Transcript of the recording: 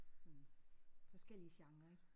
Sådan forskellige genrer ik